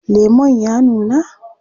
Lemon ya nuna?